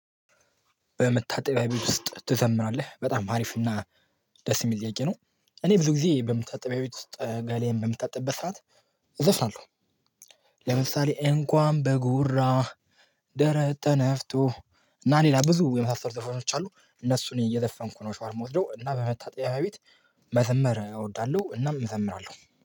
በመታጠቢያ ቤት ውስጥ ትዘምራለህ በጣም አሪፍ እና ደስ የሚጠይቅ ነው። እኔ ብዙ ጊዜ በመታጠቢያ ቤት ውስጥ ጋሌን በምታጠቢበት ሰዓት እዘፍናለሁ። ለምሳሌ እንኳን በጉራ ደረተ ተፍቶ እና ሌላ ብዙ የመሳሰሉ ዘፈኖች አሉ። እነሱን እየዘፈንኩ ነው ሻወር የምወስደው እና በመታጠቢያ ቤት መዘመር እወዳለሁ። እናም እዘምራለሁ